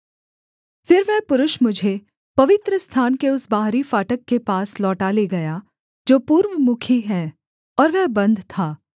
फिर वह पुरुष मुझे पवित्रस्थान के उस बाहरी फाटक के पास लौटा ले गया जो पूर्वमुखी है और वह बन्द था